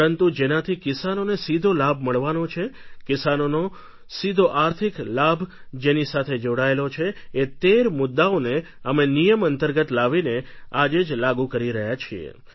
પરંતુ જેનાથી કિસાનોને સીધો લાભ મળવાનો છે કિસાનોનો સીધો આર્થિક લાભ જેની સાથે જોડાયેલો છે એ તેર મુદ્દાઓને અમે નિયમ અંતર્ગત લાવીને આજે જ લાગુ કરી રહ્યા છીએ